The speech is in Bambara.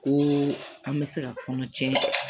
Ko an bɛ se ka kɔnɔ jɛ